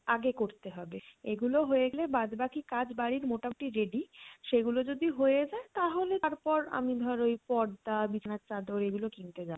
আগে করতে হবে, এগুলো হয়ে গেলে বাদ বাকি কাজ বাড়ির মোটামটি ready সেগুলো যদি হয়ে যায় তাহলে তারপর আমি ধর ওই পর্দা বিছানার চাদর এইগুলো কিনতে যাবো।